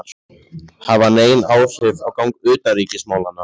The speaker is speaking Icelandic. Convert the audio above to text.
hafa nein áhrif á gang utanríkismálanna.